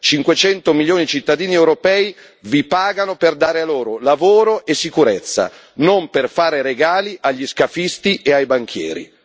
Cinquecento milioni di cittadini europei vi pagano per dare loro lavoro e sicurezza, non per fare regali agli scafisti e ai banchieri.